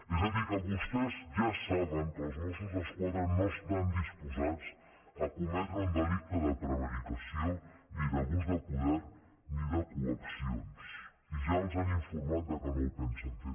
és a dir que vostès ja saben que els mossos d’esquadra no estan disposats a cometre un delicte de prevaricació ni d’abús de poder ni de coaccions i ja els han informat que no ho pensen fer